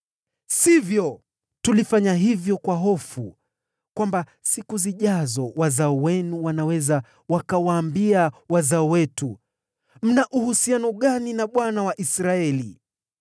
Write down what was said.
“Sivyo! Tulifanya hivyo kwa hofu kwamba siku zijazo wazao wenu wanaweza wakawaambia wazao wetu, ‘Mna uhusiano gani na Bwana , Mungu wa Israeli?